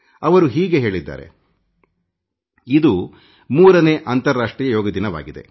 ಅವರು ಹೀಗೆ ಹೇಳಿದ್ದಾರೆ ಇದು 3 ನೇ ಅಂತಾರಾಷ್ಟ್ರೀಯ ಯೋಗ ದಿನವಾಗಿದೆ